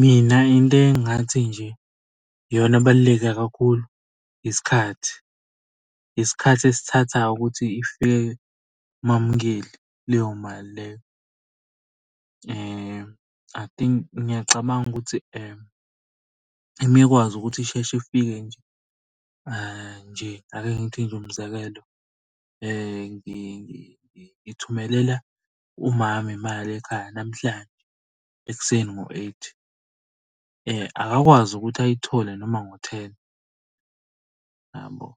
Mina into engingathi nje iyona abaluleke kakhulu, isikhathi. Isikhathi esithathayo ukuthi ifike kumamnkeli leyo mali leyo. I think, ngiyacabanga ukuthi uma ekwazi ukuthi isheshe ifike nje, nje ake ngithi nje umzekelo. Ngithumelela umama imali ekhaya namhlanje ekuseni ngo-eight, akakwazi ukuthi ayithole noma ngo-ten yabo.